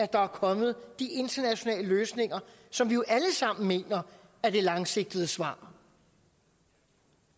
der er kommet de internationale løsninger som vi jo alle sammen mener er det langsigtede svar